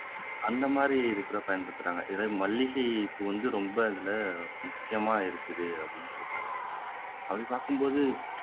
அந்த மாதிரி இதுக்கு கூட பயன்படுத்துறாங்க இதுல மல்லிகை பூ வந்து ரொம்ப அதுல முக்கியமா இருக்குதுனு சொல்றாங்க அப்படி பாக்கும் போது